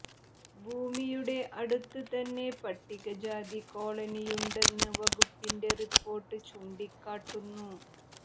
ഭൂമിയുടെ അടുത്ത് തന്നെ പട്ടികജാതി കോളനിയുണ്ടെന്ന് വകുപ്പിന്റെ റിപ്പോര്ട്ട് ചൂണ്ടിക്കാട്ടുന്നു